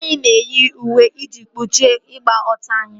Anyị na-eyi uwe iji kpuchie ịgba ọtọ anyị